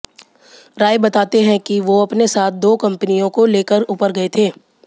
राय बताते हैं कि वो अपने साथ दो कंपनियों को ले कर ऊपर गए थे